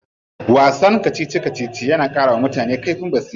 Wasan kacici kacici na karawa mutum kaifin basira.